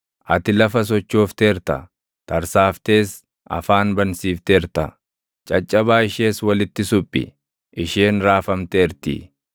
Ati lafa sochoofteerta; tarsaaftees afaan bansiifteerta; caccabaa ishees walitti suphi; isheen raafamteertii.